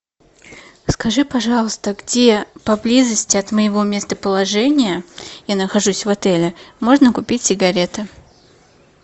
скажи пожалуйста где поблизости от моего местоположения я нахожусь в отеле можно купить сигареты